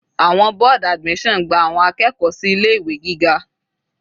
Àwọn board admission gba àwọn akẹ́kọ̀ọ́ sí ilé ìwé gíga.